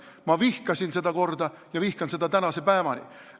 Ma vihkasin seda korda ja vihkan seda tänase päevani.